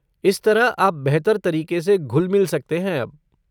इस तरह आप बेहतर तरीके से घुल मिल सकते हैं अब।